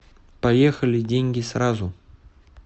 поехали деньги сразу